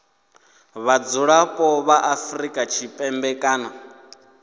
vhadzulapo vha afrika tshipembe kana